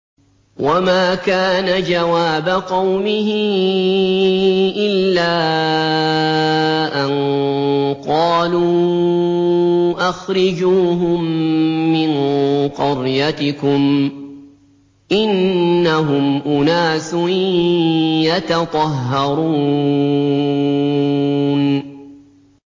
وَمَا كَانَ جَوَابَ قَوْمِهِ إِلَّا أَن قَالُوا أَخْرِجُوهُم مِّن قَرْيَتِكُمْ ۖ إِنَّهُمْ أُنَاسٌ يَتَطَهَّرُونَ